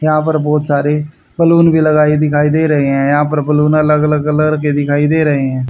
यहां पर बहुत सारे बलून भी लगाये दिखाई दे रहे हैं यहां पर बलूना अलग अलग कलर के दिखाई दे रहे हैं।